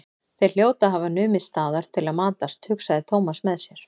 Þeir hljóta að hafa numið staðar til að matast, hugsaði Thomas með sér.